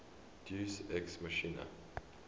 deus ex machina